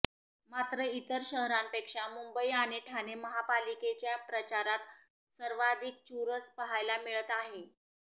मात्र इतर शहरांपेक्षा मुंबई आणि ठाणे महापालिकेच्या प्रचारात सर्वाधिक चुरस पाहायला मिळत आहे